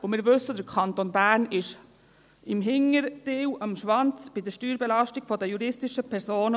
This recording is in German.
Und wir wissen, der Kanton Bern ist beim hinteren Teil, am Schwanz bei der Steuerbelastung der juristischen Personen.